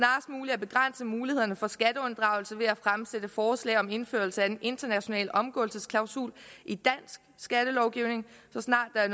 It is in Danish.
at begrænse mulighederne for skatteunddragelse ved at fremsætte forslag om indførelse af en international omgåelsesklausul i dansk skattelovgivning så snart der er